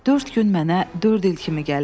Dörd gün mənə dörd il kimi gəlirdi.